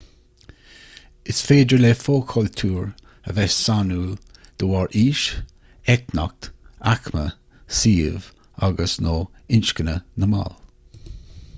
is féidir le fo-chultúir a bheith sainiúil de bharr aois eitneacht aicme suíomh agus/nó inscne na mball